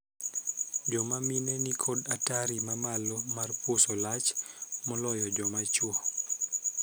Joma mine ni kod atari mamalo mar puso lach moloyo joma chwo.